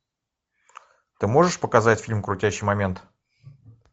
ты можешь показать фильм крутящий момент